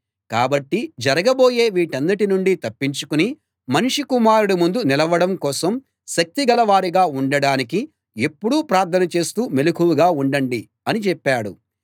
కాబట్టి జరగబోయే వీటన్నిటి నుండి తప్పించుకుని మనుష్య కుమారుడి ముందు నిలవడం కోసం శక్తిగల వారుగా ఉండడానికి ఎప్పుడూ ప్రార్థన చేస్తూ మెలకువగా ఉండండి అని చెప్పాడు